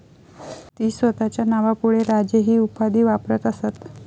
ती स्वतःच्या नावापुढे राजे ही उपाधी वापरत असत